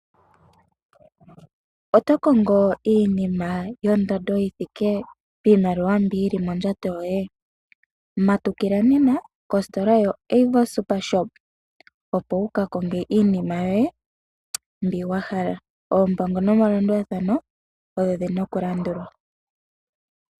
Oto kongo iinima yondando yiimaliwa mbi yili mondjato yoye, matukila nena kositola yoAvo super shop, opo wuka konge iinima yoye mbi wahala. Oompango nomalandulathano odho dhina okulandulwa.